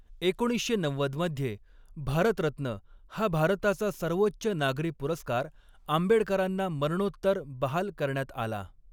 एकोणीसशे नव्वद मध्ये, भारतरत्न हा भारताचा सर्वोच्च नागरी पुरस्कार आंबेडकरांना मरणोत्तर बहाल करण्यात आला.